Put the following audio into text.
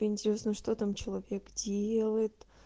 интересно что там человек делает